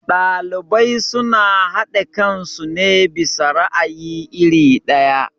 Ɗalibai suna haɗe kansu ne bisa ra'ayi iri ɗaya.